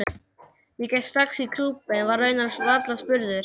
Ég gekk strax í klúbbinn, var raunar varla spurður.